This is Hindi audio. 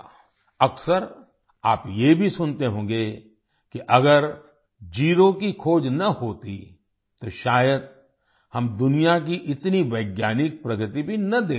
अक्सर आप ये भी सुनते होंगे कि अगर ज़ेरो की खोज न होती तो शायद हम दुनिया की इतनी वैज्ञानिक प्रगति भी न देख पाते